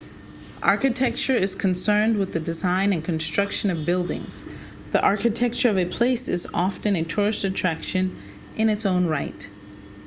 architecture is concerned with the design and construction of buildings the architecture of a place is often a tourist attraction in its own right